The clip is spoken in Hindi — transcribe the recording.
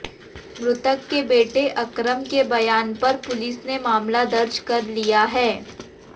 मृतक के बेटे अकरम के बयान पर पुलिस ने मामला दर्ज कर लिया है